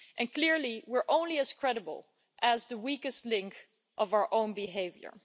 Clearly we're only as credible as the weakest link in our own behaviour.